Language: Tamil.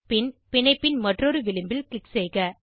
பின் பிணைப்பின் மற்றொரு விளிம்பில் க்ளிக் செய்க